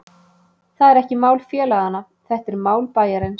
Það er ekki mál félaganna, þetta er mál bæjarins.